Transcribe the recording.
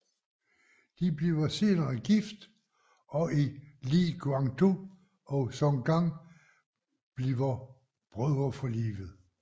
De bliver senere gift og Li Guangtou og Song Gang bliver brødre for livet